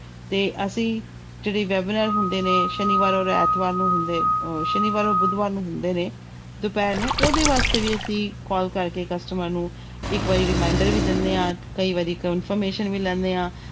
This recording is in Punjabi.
ਤੇ ਅਸੀਂ ਜਿਹੜੀ webinar ਹੁੰਦੇ ਨੇ ਸ਼ਨੀਵਾਰ ਔਰ ਐਤਵਾਰ ਨੂੰ ਹੁੰਦੇ ਅਹ ਸ਼ਨੀਵਾਰ ਔਰ ਬੁੱਧਵਾਰ ਨੂੰ ਹੁੰਦੇ ਨੇ ਦੁਪਿਹਰ ਨੂੰ ਉਹਦੇ ਵਾਸਤੇ ਵੀ ਅਸੀਂ call ਕਰਕੇ customer ਨੂੰ ਇੱਕ ਵਾਰੀ reminder ਵੀ ਦਿੰਦੇ ਹਾਂ, ਕਈ ਵਾਰੀ confirmation ਵੀ ਲੈਂਦੇ ਹਾਂ।